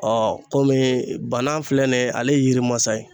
komi bana filɛ nin ye ale yiri masa ye